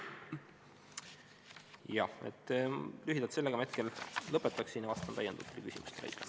Jah, sellega ma hetkel lõpetaksin ja vastan küsimustele.